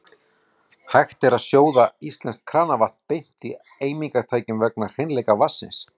Hægt er að sjóða íslenskt kranavatn beint í eimingartækjum vegna hreinleika vatnsins.